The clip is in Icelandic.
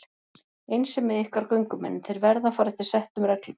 Eins er með ykkar göngumenn, þeir verða að fara eftir settum reglum.